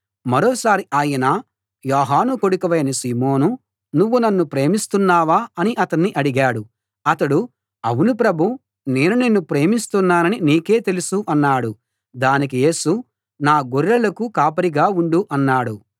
మరోసారి ఆయన యోహాను కొడుకువైన సీమోనూ నువ్వు నన్ను ప్రేమిస్తున్నావా అని అతణ్ణి అడిగాడు అతడు అవును ప్రభూ నేను నిన్ను ప్రేమిస్తున్నానని నీకే తెలుసు అన్నాడు దానికి యేసు నా గొర్రెలకు కాపరిగా ఉండు అన్నాడు